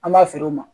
An b'a feere u ma